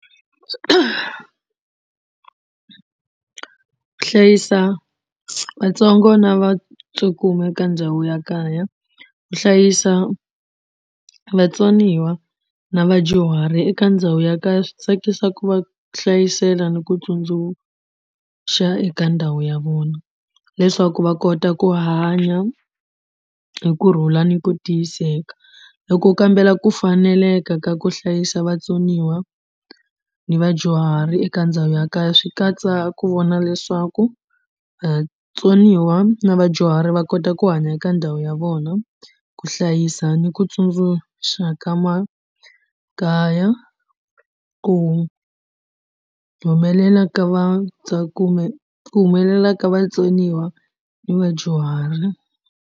Ku hlayisa vatsongo na va cukumeta eka ndhawu ya kaya ku hlayisa vatsoniwa na vadyuhari eka ndhawu ya kaya swi tsakisa ku va hlayisela ni ku tsundzukaxa eka ndhawu ya vona leswaku va kota ku hanya hi kurhula ni ku tiyiseka. Loko u kambela ku faneleka ka ku hlayisa vatsoniwa na vadyuhari eka ndhawu ya kaya swi katsa ku vona leswaku vatsoniwa na vadyuhari va kota ku hanya eka ndhawu ya vona ku hlayisa ni ku tsundzuxa ka makaya ku humelela ka ku humelela ka vatsoniwa na vadyuhari.